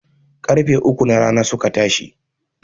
Ƙarfe uku na rana suke tashi